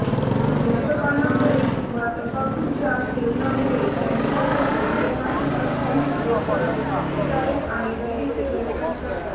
धूम्रपानामुळे किंवा तंबाखूच्या सेवनामुळे कॅन्सर होतो हे माहित असूनही लोक सिगारेट आणि बिडीचे व्यसन करतात